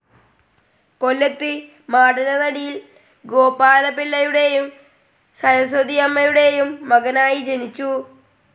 കൊല്ലത്ത്‌ മാടനടയിൽ ഗോപാലപിള്ളയുടേയും സരസ്വതിയമ്മയുടേയും മകളായി ജനിച്ചു.